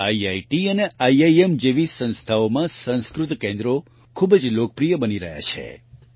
IIT અને IIM જેવી સંસ્થાઓમાં સંસ્કૃત કેન્દ્રો ખૂબ જ લોકપ્રિય બની રહ્યા છે